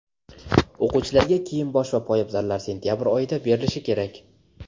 O‘quvchilarga kiyim-bosh va poyabzallar sentyabr oyida berilishi kerak.